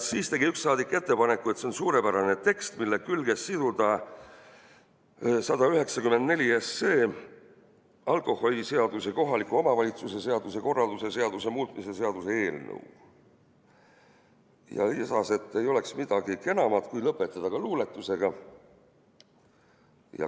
Siis tegi üks saadik ettepaneku, et see on suurepärane tekst, mille külge siduda 194 SE, alkoholiseaduse ja kohaliku omavalitsuse korralduse seaduse muutmise seaduse eelnõu, ning lisas, et ei oleks midagi kenamat, kui lõpetada ka luuletusega.